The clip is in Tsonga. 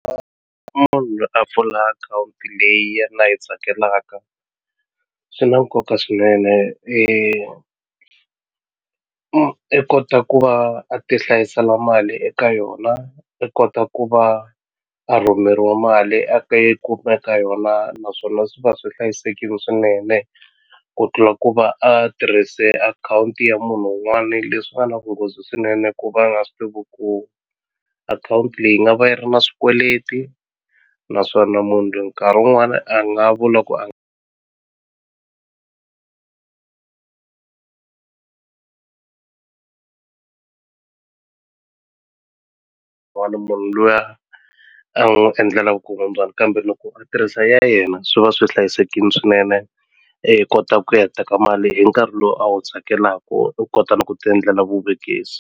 munhu loyi a pfula akhawunti leyi yena a yi tsakelaka swi na nkoka swinene i kota ku va a ti hlayisela mali eka yona i kota ku va a rhumeriwa mali a ta yi kuma eka yona naswona swi va swi hlayisekini swinene ku tlula ku va a tirhise akhawunti ya munhu wun'wani leswi nga na vunghozi swinene ku va nga swi tivi ku akhawunti leyi nga va yi ri na swikweleti naswona munhu loyi nkarhi wun'wani a nga vula ku a munhu luya a n'wi endlela vukungundzwani kambe loko a tirhisa ya yena swi va swi hlayisekini swinene i kota ku ya teka mali hi nkarhi lowu a wu tsakelaku u kota na ku ti endlela vuvekisi.